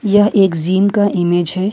यह एक जिम का इमेज है।